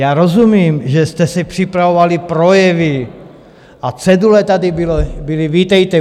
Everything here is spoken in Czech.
Já rozumím, že jste si připravovali projevy, a cedule tady byly, vítejte.